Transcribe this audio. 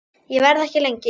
Ég verð ekki lengi